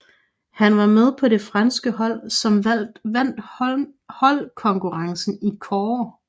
Han var med på det franske hold som vandt holdkonkurrencen i kårde